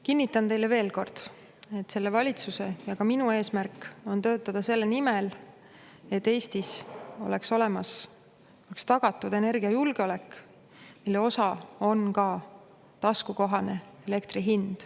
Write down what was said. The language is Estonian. Kinnitan teile veel kord, et selle valitsuse ja ka minu eesmärk on töötada selle nimel, et Eestis oleks tagatud energiajulgeolek, mille osa on ka taskukohane elektri hind.